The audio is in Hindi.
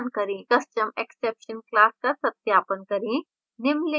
custom exception class का सत्यापन करें